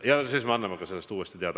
Ja siis me anname sellest ka uuesti teada.